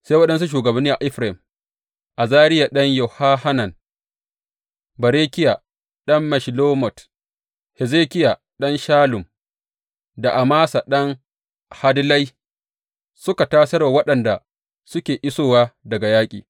Sai waɗansu shugabanni a Efraim, Azariya ɗan Yehohanan, Berekiya ɗan Meshillemot, Hezekiya ɗan Shallum da Amasa ɗan Hadlai, suka tasar wa waɗanda suke isowa daga yaƙi.